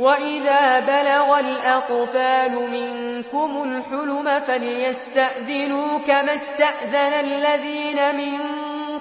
وَإِذَا بَلَغَ الْأَطْفَالُ مِنكُمُ الْحُلُمَ فَلْيَسْتَأْذِنُوا كَمَا اسْتَأْذَنَ الَّذِينَ مِن